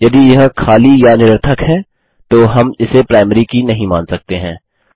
यदि यह खाली या निरर्थक है तो हम इसे प्राइमरी की नहीं मान सकते हैं